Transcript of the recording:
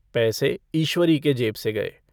पैसे ईश्वरी के जेब से गए।